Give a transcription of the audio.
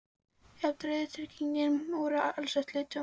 Jafnvel reiðtygin voru alsett lituðu og gylltu skrauti.